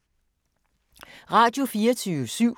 Radio24syv